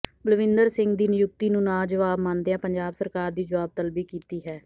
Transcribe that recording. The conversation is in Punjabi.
ਬਲਵਿੰਦਰ ਸਿੰਘ ਦੀ ਨਿਯੁਕਤੀ ਨੂੰ ਨਾਵਾਜਬ ਮੰਨਦਿਆਂ ਪੰਜਾਬ ਸਰਕਾਰ ਦੀ ਜੁਆਬ ਤਲਬੀ ਕੀਤੀ ਹੈ